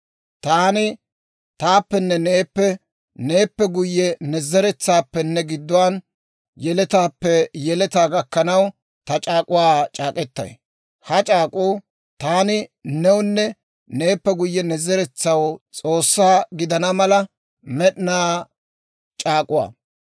Taani taappenne neeppe, neeppe guyye ne zeretsaappenne gidduwaan, yeletaappe yeletaa gakkanaw ta c'aak'k'uwaa c'aak'k'etay; ha c'aak'k'uu taani newunne neeppe guyye ne zeretsaw S'oossaa gidana mala med'inaa c'aak'uwaa.